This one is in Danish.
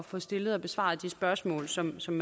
få stillet og besvaret de spørgsmål som som